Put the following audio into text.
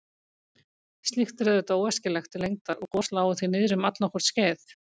Slíkt er auðvitað óæskilegt til lengdar og gos lágu því niðri um allnokkurt skeið.